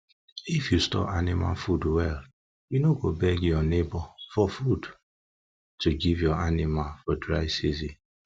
if you store anima food well you no go beg your neighbour food to give your anima for dry season